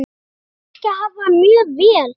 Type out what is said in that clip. Ég þekki hafa mjög vel.